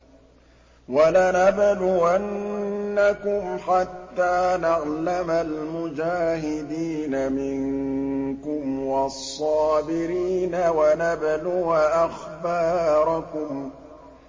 وَلَنَبْلُوَنَّكُمْ حَتَّىٰ نَعْلَمَ الْمُجَاهِدِينَ مِنكُمْ وَالصَّابِرِينَ وَنَبْلُوَ أَخْبَارَكُمْ